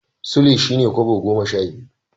Sule shi ne Kobo goma sha biyu.